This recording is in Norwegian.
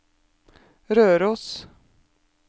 Røros